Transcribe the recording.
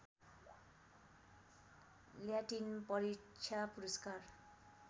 Latin परीक्षा पुरस्कार